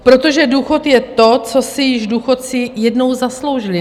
Protože důchod je to, co si již důchodci jednou zasloužili.